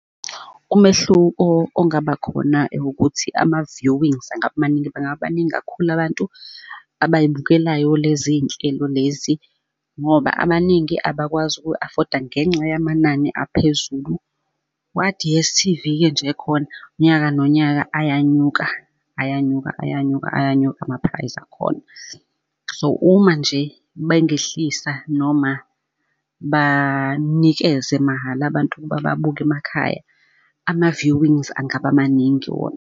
Umehluko ongaba khona ukuthi ama-viewings angaba maningi, bangakabi baningi kakhulu abantu abay'bukelayo lezi nhlelo lezi, ngoba abaningi abakwazi ukuy'afoda ngenxa yamanani aphezulu. Kwa-D_S_T_V-ke nje khona, unyaka nonyaka ayanyuka, ayanyuka, ayanyuka, ayanyuka ama-price akhona. So, uma nje bengehlisa noma banikeze mahhala abantu ukuba babuke emakhaya, ama-viewings angaba maningi wona.